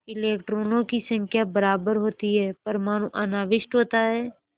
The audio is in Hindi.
इलेक्ट्रॉनों की संख्या बराबर होती है परमाणु अनाविष्ट होता है